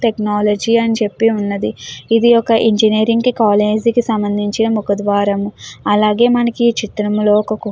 Technology అని చెప్పి ఉన్నది. ఇది ఒక ఇంజనీరింగ్ కి కాలేజీ సంబంధించిన ఒక ముఖద్వారం. అలాగే మనకి చిత్రంలో ఒక కుక్క--